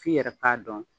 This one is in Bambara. F'i yɛrɛ k'a dɔn